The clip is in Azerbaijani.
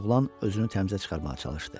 oğlan özünü təmizə çıxarmağa çalışdı.